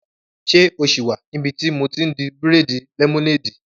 Ṣé o sì wà níbi tí mo ti n di bírèèdì lẹ́mọ́néèdì?